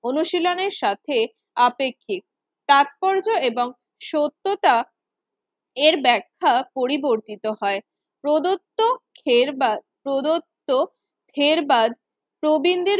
অনুশীলনের সাথে আপেক্ষিক। তাৎপর্য এবং সত্যতা এর ব্যাখ্যা পরিবর্তিত হয় প্রদত্ত খেরবা প্রদত্ত খেরবাদ প্রবীণদের